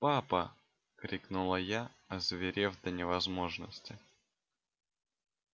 папа крикнула я озверев до невозможности